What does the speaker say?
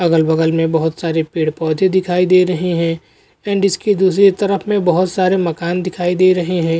अगल-बगल में बोहोत सारे पेड़-पौधे दिखाई दे रहे हैं एंड इसकी दूसरी तरफ में बोहोत सारे मकान दिखाई दे रहे हैं।